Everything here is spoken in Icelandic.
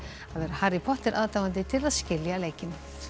að vera Harry Potter aðdáandi til að skilja leikinn